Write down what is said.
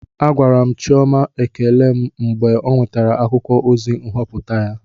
Agwara m Chioma ekele m mgbe ọ nwetasịrị akwụkwọ ozi nhọpụta ya